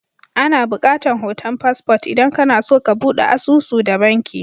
Ana bukatan hoton passport idan kana so ka budde asusu da banki.